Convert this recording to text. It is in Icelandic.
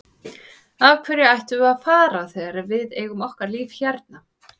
Af hverju ættum við að fara þegar við eigum okkar líf hérna?